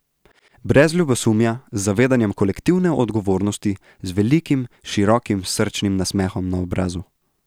Brez ljubosumja, z zavedanjem kolektivne odgovornosti, z velikim, široki, srčnim nasmehom na obrazu.